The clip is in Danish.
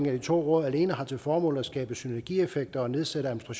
af de to råd alene har til formål at skabe synergieffekter og nedsætte